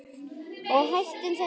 Og hættum þessu hangsi.